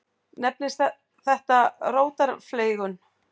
Nefnist þetta rótarfleygun.